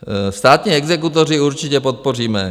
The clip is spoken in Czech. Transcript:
Státní exekutory určitě podpoříme.